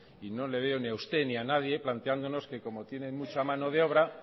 y no le veo ni a usted ni a nadie planteándonos que como tienen mucha mano de obra